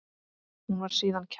Hún var síðan kærð.